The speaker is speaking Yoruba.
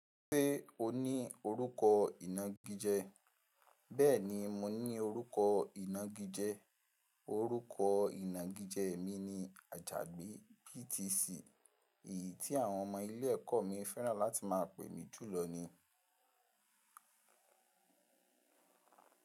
Ṣé o ní orúkọ ìnágijẹ? Bẹ́ẹ̀ni, mo ní orúkọ ìnágijẹ. Orúkọ ìnágijẹ mi ni Ajagbé BTC. Èyí tí àwọn ọmọ ilé ẹ̀kọ́ mi fẹ́ràn láti máa pè mi jùlọ ní.